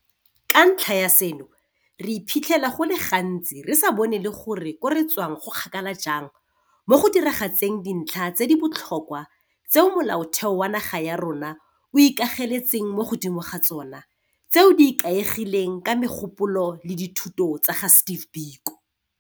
Ka ntlha ya seno, re iphitlhela go le gantsi re sa bone le gore ko re tswang go kgakala jang mo go diragatseng dintlha tse di botlhokwa tseo Molaotheo wa naga ya rona o ikageletseng mo godimo ga tsona tseo di ikaegileng ka megopolo le dithuto tsa ga Steve Biko.